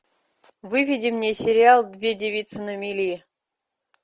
выведи мне сериал две девицы на мели